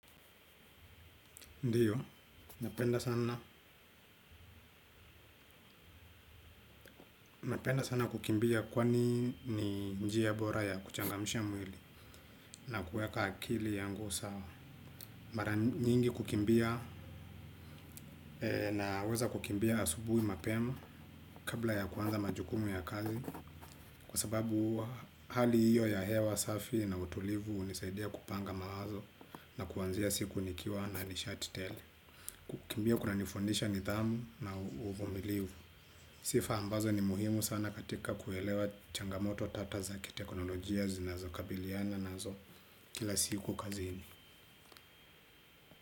Ndiyo, napenda sana napenda sana kukimbia kwani ni njia bora ya kuchangamsha mwili na kuweka akili yangu sawa. Mara nyingi kukimbia naweza kukimbia asubuhi mapema kabla ya kuanza majukumu ya kazi. Kwa sababu hali hiyo ya hewa safi na utulivu hunisaidia kupanga mawazo na kuanzia siku nikiwa na nishati tele. Kukimbia kunanifundisha nidhamu na uvumilivu. Sifa ambazo ni muhimu sana katika kuelewa changamoto tata za kiteknolojia zinazokabiliana nazo kila siku kazini.